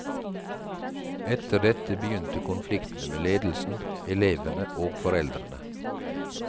Etter dette begynte konfliktene med ledelsen, elevene og foreldrene.